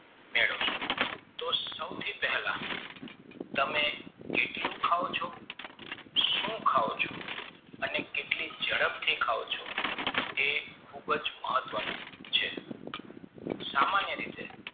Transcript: તો સૌ થી પહેલા તમે કેટલું ખાવ છો સુ ખાવ છો અને કેટલી ઝડપથી ખાવ છો તે ખુબ જ મહત્વ નું છે સામાન્ય રીતે